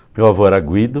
Meu avô era Guido